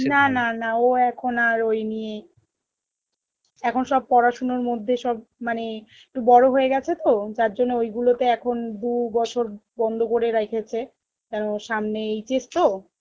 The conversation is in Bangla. না না না ও এখন আর ওই নিয়ে এখন সব পড়াশুনোর মধ্যে সব মানে একটু বড় হয়েগেছে তো যার জন্যে ওই গুলো তে এখন দু'বছর বন্ধ করে রেখেছে কারণ সামনে HS তো